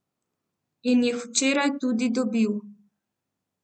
In jih včeraj tudi dobil.